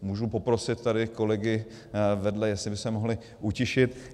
Můžu poprosit tady kolegy vedle, jestli by se mohli utišit?